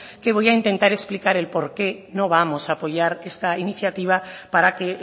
que voy a intentar explicar el por qué no vamos a apoyar esta iniciativa para que